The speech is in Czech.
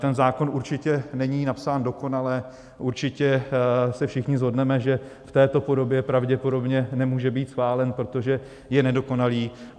Ten zákon určitě není napsán dokonale, určitě se všichni shodneme, že v této podobě pravděpodobně nemůže být schválen, protože je nedokonalý.